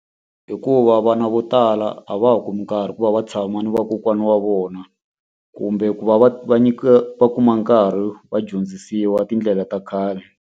Hikuva vana vo tala a va ha kumi nkarhi ku va va tshama na vakokwana wa vona, kumbe ku va va va nyikiwa va kuma nkarhi va dyondzisiwa tindlela ta khale.